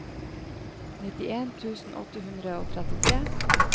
nittien tusen åtte hundre og trettitre